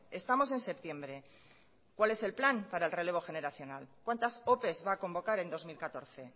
estamos en septiembre cuál es el plan para el relevo generacional cuántas opes va a convocar en dos mil catorce